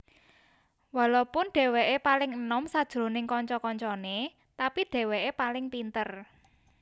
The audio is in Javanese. Walopun dheweke paling enom sajroning kanca kancane tapi dheweke paling pinter